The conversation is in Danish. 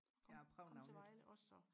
ja og prøve noget nyt